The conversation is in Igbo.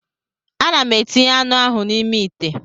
Ana m etinye anụ ahụ n'ime ite